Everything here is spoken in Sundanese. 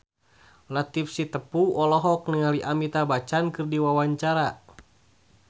Latief Sitepu olohok ningali Amitabh Bachchan keur diwawancara